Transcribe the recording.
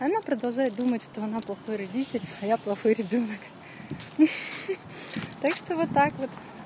она продолжает думать что она плохой родитель а я плохой ребёнок хи-хи так что вот так вот